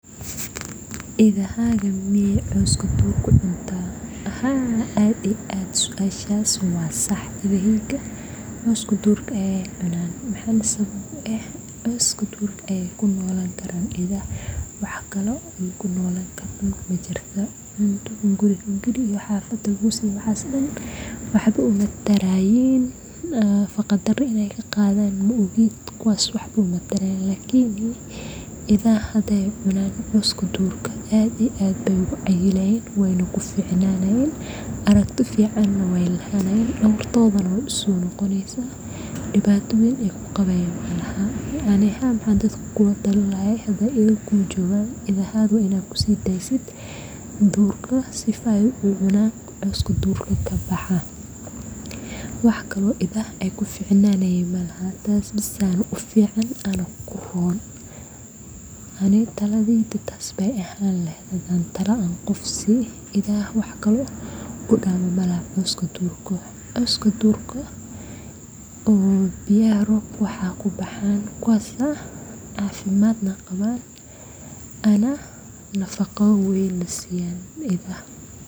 idahaaga miyee cawska duurka cuntaa